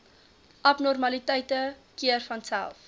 abnormaliteite keer vanself